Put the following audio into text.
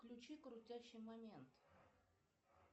включи крутящий момент